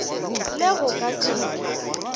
le go ka se be